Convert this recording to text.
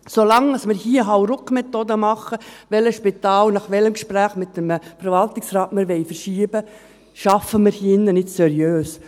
Solange wir hier HauruckMethoden anwenden, welches Spital wir nach welchem Gespräch mit einem Verwaltungsrat verschieben wollen, arbeiten wir hier im Rat nicht seriös.